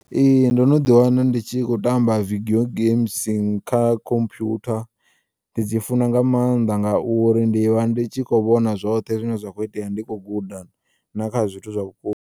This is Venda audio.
Ee, ndo no ḓiwana ndi tshi khou tamba video games kha khompiyutha, ndi dzi funa nga maanḓa ngauri ndivha ndi tshi kho vhona zwoṱhe zwine zwa kho u iteya ndi kho guda na kha zwithu zwa vhuko .